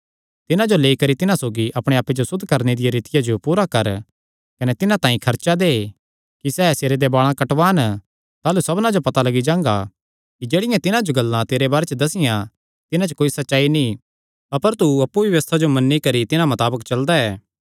तिन्हां जो लेई करी तिन्हां सौगी अपणे आप्पे जो सुद्ध करणे दिया रीतिया जो पूरा कर कने तिन्हां तांई खर्चा दे कि सैह़ सिरे दे बाल़ां कटवान ताह़लू सबना जो पता लग्गी जांगा कि जेह्ड़ियां तिन्हां जो गल्लां तेरे बारे च दस्सियां तिन्हां च कोई सच्चाई नीं अपर तू अप्पु भी व्यबस्था जो मन्नी करी तिन्हां मताबक चलदा ऐ